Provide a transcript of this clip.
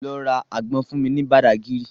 Lọ ra àgbọn fún mi ní Badagry